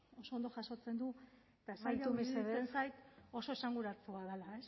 oso ondo jasotzen du eta amaitu mesedez iruditzen zait oso esanguratsua dela